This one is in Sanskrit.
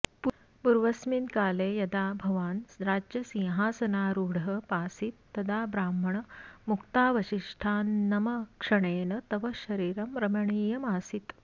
पूर्वस्मिन् काले यदा भवान् राज्यसिंहासनारुडः पासीत् तदा ब्राह्मण मुक्तावशिष्टान्नमक्षणेन तव शरीरं रमणीयमासीत